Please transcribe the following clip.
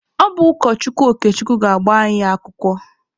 Ọ bụ ụkọchukwu Okechukwu ga-agba anyị akwụkwọ.